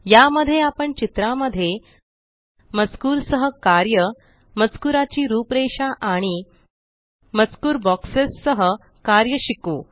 या मध्ये आपण चित्रामध्ये मजकूर सह कार्य मजकुराची रूपरेषा आणि मजकूर बॉक्सेस सह कार्य शिकू